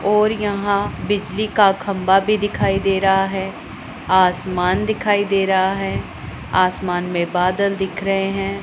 और यहां बिजली का खंभा भी दिखाई दे रहा है आसमान दिखाई दे रहा है आसमान में बादल दिख रहे हैं।